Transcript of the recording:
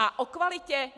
A o kvalitě?